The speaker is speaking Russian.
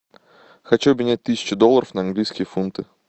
хочу обменять тысячу долларов на английские фунты